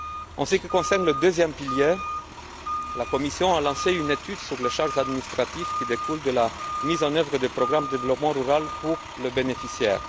En ce qui concerne le deuxième pilier, la Commission a lancé une étude sur les charges administratives qui découlent de la mise en œuvre des programmes de développement rural pour les bénéficiaires.